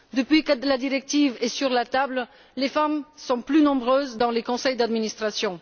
Depuis que la directive est sur la table, les femmes sont plus nombreuses dans les conseils d'administration.